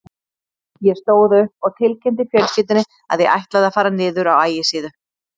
Ég stóð upp og tilkynnti fjölskyldunni að ég ætlaði að fara niður á Ægisíðu.